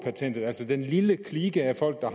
patentet altså den lille klike af folk der